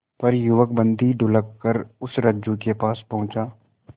पर युवक बंदी ढुलककर उस रज्जु के पास पहुंचा